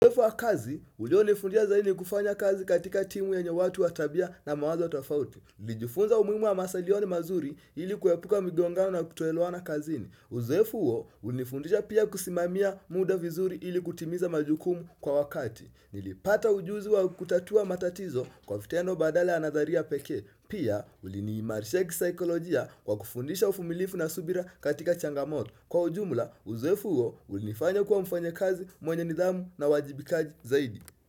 Uzoefu wa kazi, ulionifundisha zaidi ni kufanya kazi katika timu yenye watu wa tabia na mawazo tofauti. Nilijifunza umuimu wa masalioni mazuri ili kuepuka migongano na kutoelewana kazini. Uzoefu uo, ulinifundisha pia kusimamia muda vizuri ili kutimiza majukumu kwa wakati. Nilipata ujuzi wa kutatua matatizo kwa fitendo badala ya nadharia pekee. Pia, uliniimarisha kisaikolojia kwa kufundisha ufumilifu na subira katika changamoto. Kwa ujumla, uzoefu uo, ulinifanya kuwa mfanyakazi, mwenye nidhamu na uwajibikaji zaidi.